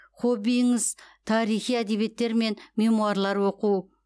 хоббиіңіз тарихи әдебиеттер мен мемуарлар оқу